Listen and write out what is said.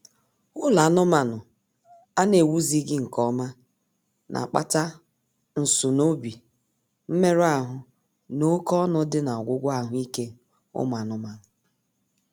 Ụlọ anụmaanụ a na-ewuzighị nkeọma na-akpata nsunoobi, mmerụ ahụ, na oké ọnụ dị n'ọgwụgwọ ahụ ike ụmụ anụmaanụ